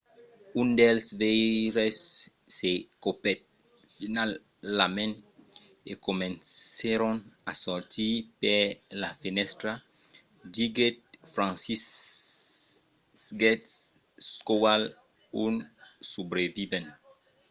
un dels veires se copèt finalament e comencèron a sortir per la fenèstra, diguèt franciszek kowal un subrevivent